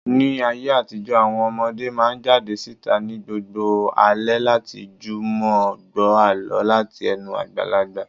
Ní ayé àtijó, àwọn ọmọdé máa ń jáde síta ní gbogbo alẹ́ láti jùmọ̀ gbọ́ àlọ́ láti ẹnu àgbàlagbà.